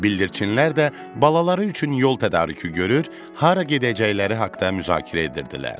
Bildirçinlər də balaları üçün yol tədarükü görür, hara gedəcəkləri haqda müzakirə edirdilər.